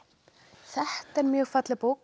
þetta er mjög falleg bók